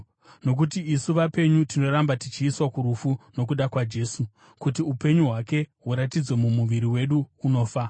Nokuti isu vapenyu tinoramba tichiiswa kurufu nokuda kwaJesu, kuti upenyu hwake huratidzwe mumuviri wedu unofa.